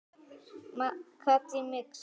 Katrín Mixa.